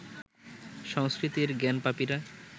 সংস্কৃতির জ্ঞানপাপীরা